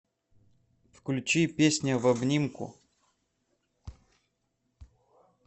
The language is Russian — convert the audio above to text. включи песня в обнимку